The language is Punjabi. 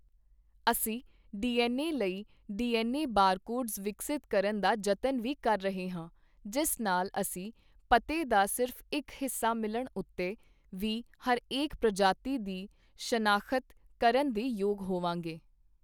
ਅਸੀਂ ਡੀ ਐੱਨ ਏ ਲਈ - ਡੀ ਐੱਨ ਏ ਬਾਰਕੋਡਜ਼ ਵਿਕਸਤ ਕਰਨ ਦਾ ਜਤਨ ਵੀ ਕਰ ਰਹੇ ਹਾਂ, ਜਿਸ ਨਾਲ ਅਸੀਂ ਪਤੇ ਦਾ ਸਿਰਫ਼ ਇੱਕ ਹਿੱਸਾ ਮਿਲਣ ਉੱਤੇ ਵੀ ਹਰੇਕ ਪ੍ਰਜਾਤੀ ਦੀ ਸ਼ਨਾਖ਼ਤ ਕਰਨ ਦੇ ਯੋਗ ਹੋਵਾਂਗੇ।